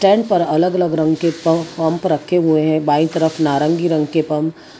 and अलग अलग रंग के प पंप रखे हुए हैं बाई तरफ नारंगी रंग के पंप --